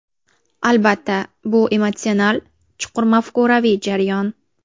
Albatta, bu emotsional, chuqur mafkuraviy jarayon.